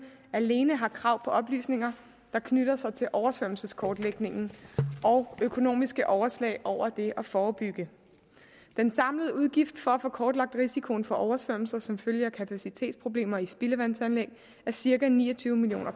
alene har krav på oplysninger der knytter sig til oversvømmelseskortlægningen og økonomiske overslag over det at forebygge den samlede udgift for at få kortlagt risikoen for oversvømmelser som følge af kapacitetsproblemer i spildevandsanlæg er cirka ni og tyve million